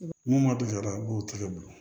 Mun ma deli ka u b'o tigɛ bolo